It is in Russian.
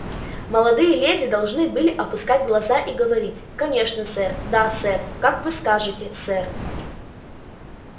молодые леди должны были опускать глаза и говорить конечно сэр да сэр как вы скажете сэр